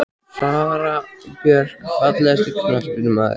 Sara Björk Fallegasti knattspyrnumaðurinn?